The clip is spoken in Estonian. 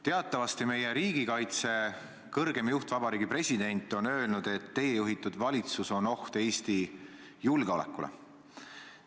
Teatavasti on meie riigikaitse kõrgeim juht, Vabariigi President, öelnud, et teie juhitud valitsus on oht Eesti julgeolekule.